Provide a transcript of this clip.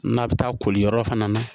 N'a bɛ taa koli yɔrɔ fana na